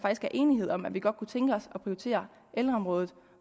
er enighed om at vi godt kunne tænke os at prioritere ældreområdet